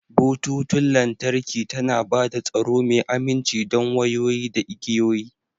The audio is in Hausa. Bututun lantarki tana ba da tsaro mai aminci don wayoyi da igiyoyi.